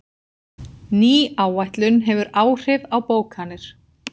Ný áætlun hefur áhrif á bókanir